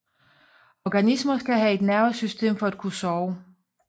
Organismer skal have et nervesystem for at kunne sove